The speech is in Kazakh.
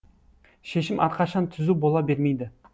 шешім әрқашан түзу бола бермейді